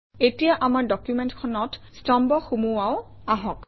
এতিয়া আমাৰ ডকুমেণ্টখনত স্তম্ভ সুমুৱাও আহক